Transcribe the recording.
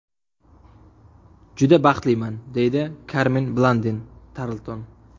Juda baxtliman”, deydi Karmen Blandin Tarlton.